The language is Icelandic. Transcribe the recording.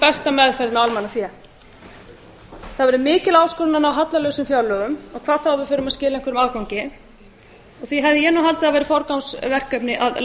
besta meðferðin á almannafé það verður mikil áskorun að ná hallalausum fjárlögum hvað þá að við förum að skila einhverju afgangi því hefði ég haldið að það væri forgangsverkefni að